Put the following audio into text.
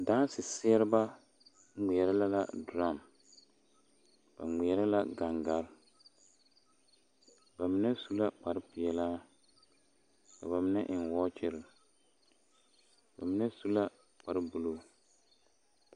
Daaseseɛreba ŋmeɛrɛ la durum ba ŋmeɛrɛ la gaŋgaa ba mine su la kparrepeɛlaa ka ba mine eŋ wɔɔkyere ba mine su la kparre buluu.